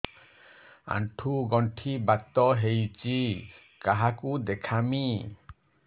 ଆଣ୍ଠୁ ଗଣ୍ଠି ବାତ ହେଇଚି କାହାକୁ ଦେଖାମି